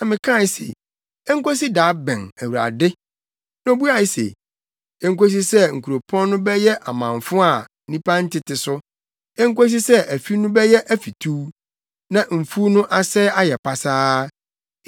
Na mekae se, “Enkosi da bɛn, Awurade?” Na obuae se, “Enkosi sɛ nkuropɔn no bɛyɛ amamfo a nnipa ntete so, enkosi sɛ afi no bɛyɛ afituw na mfuw no asɛe ayɛ pasaa,